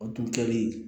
O tun kɛlen